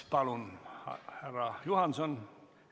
Palun, härra Juhanson!